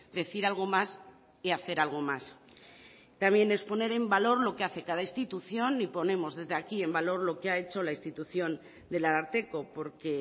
decir algo más y hacer algo más también es poner en valor lo que hace cada institución y ponemos desde aquí en valor lo que ha hecho la institución del ararteko porque